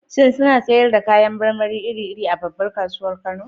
Shin suna sayar da kayan marmari iri-iri a babbar kasuwar Kano?